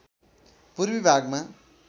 पूर्वी भागमा